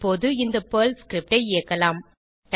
இப்போது இந்த Perl script ஐ இயக்கலாம்